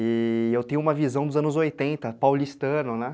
E... eu tenho uma visão dos anos oitenta, paulistano, né?